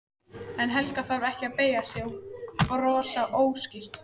En Helga þarf ekki að beygja sig og brosa óstyrk.